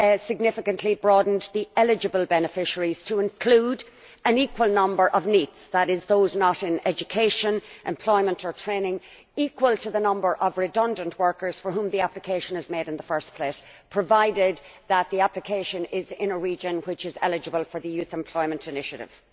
significantly broadened the eligible beneficiaries to include an equal number of NEETs that is, those not in education, employment or training to that of redundant workers for whom the application is made in the first place, provided that the application is in a region which is eligible for the youth employment initiative.